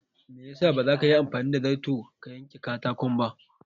Me ya sa baza ka Yi anfani da zarto ka yen ka katakon ba?